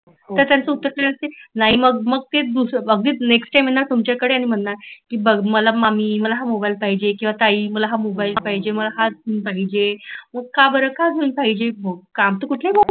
तर त्यांच उत्तर काय असते नाही मग मग ते दुसर बग नेक्ष्ट टाईम नाही मांगणार. बग मला मम्मी मला हा मोबाईल पाहिजे किंवा ताई मला हा मोबाईल पाहिजे मला हाच पाहिजे का बर का घेऊन पाहिजे